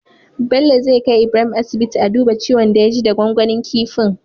Bello zai kai Ibrahim asibiti a duba ciwon da ya ji da gwangwanin kifin